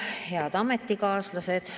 Head ametikaaslased!